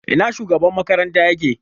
Ina shugaban makaranta yake?